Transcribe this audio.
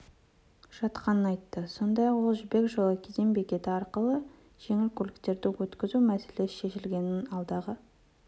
жатқанын айтты сондай-ақ ол жібек жолы кеден бекеті арқылы жеңіл автокөліктер өткізу мәселесі шешілгенін алдағы